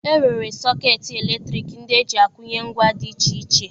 E nwere sọkeetị eletriki ndị e ji akwụnye ngwa dị iche iche